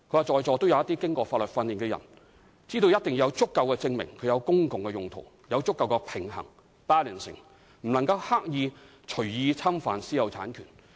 政府必須有足夠證明，證明收回的土地是作公共用途，要有足夠的平衡，而非刻意隨意侵犯私有產權。